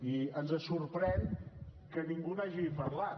i ens sorprèn que ningú n’hagi parlat